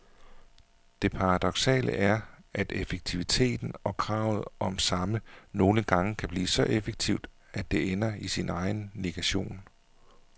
Det paradoksale er, at effektiviteten og kravet om samme nogle gange kan blive så effektivt, at det ender i sin egen negation.